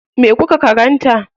Me kuka karanta?